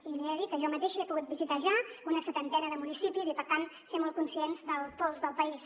i li he de dir que jo mateixa he pogut visitar ja una setantena de municipis i per tant ser molt conscient del pols del país